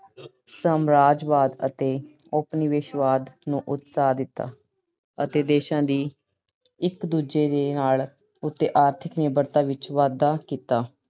ਸਮਰਾਜਵਾਦ ਅਤੇ ਉਪ-ਨਿਵੇਸ਼ਵਾਦ ਨੂੰ ਉਤਸਾਹ ਦਿੱਤਾ ਅਤੇ ਦੇਸ਼ਾਂ ਦੀ ਇੱਕ ਦੂਜੇ ਦੇ ਨਾਲ ਉਤੇ ਆਰਥਿਕ ਨਿਰਭਰਤਾ ਚ ਵਾਧਾ ਕੀਤਾ।